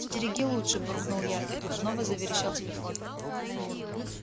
стереги лучше буркнул я и тут снова заверещал телефон